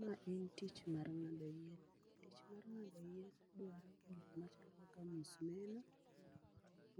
Ma en tich mar ngado yien, tich mar ngado yien dwaro gik machalo kaka msumeno,